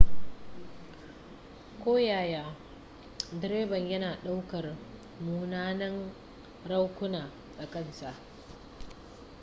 koyaya direban yana ɗaukar munanan raunuka a kan sa